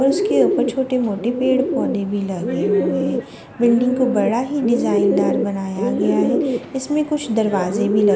और उसके ऊपर छोटे-मोटे पेड़-पौधे भी लगे हुए हैं बिल्डिंग को बड़ा ही डिजाइनदार बनाया गया है इसमें कुछ दरवाजे भी लगे--